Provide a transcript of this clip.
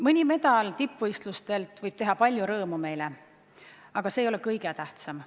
Mõni medal tippvõistlustelt võib meile palju rõõmu teha, aga see ei ole kõige tähtsam.